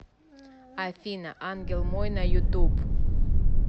афина ангел мой на ютуб